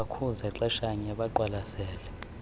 bakhuza xeshanye beqwalasele